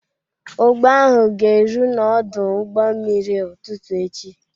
Ụgbọ ahụ ga-eru n'ọdụ ụgbọ mmiri ụtụtụ echi.